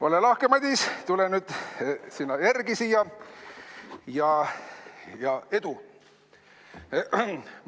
Ole lahke, Madis, tule nüüd sina sellele järele siia, ja edu!